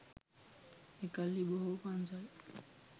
එකල්හි බොහෝ පන්සල්